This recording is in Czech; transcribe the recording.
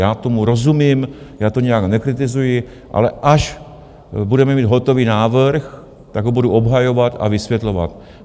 Já tomu rozumím, já to nijak nekritizuji, ale až budeme mít hotový návrh, tak ho budu obhajovat a vysvětlovat.